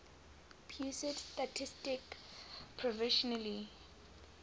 pusat statistik provisionally